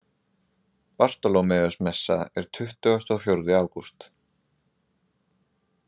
Bartólómeusmessa er tuttugasti og fjórði ágúst.